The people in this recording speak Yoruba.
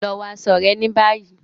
Lọ wọ aṣọ rẹ ní bayi!